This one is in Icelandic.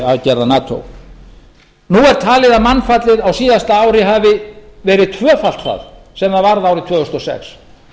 aðgerða nato nú er talið að mannfallið á síðasta ári hafi verið tvöfalt það sem það varð árið tvö þúsund og sex